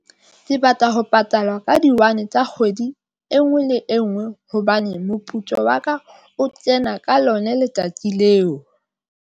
Ke batla ho patalwa ka di one tsa kgwedi e nngwe le e nngwe hobane moputso wa ka o kena ka lona letsatsi leo.